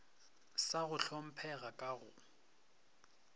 sa go hlomphega ka go